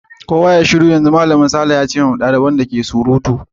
Kowa yayi shiru yanzu! Malamin Sarah ta ce lokacin da duk xaliban ke ta surutu.